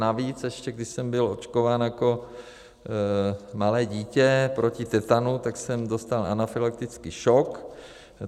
Navíc ještě, když jsem byl očkován jako malé dítě proti tetanu, tak jsem dostal anafylaktický šok.